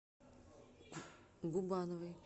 губановой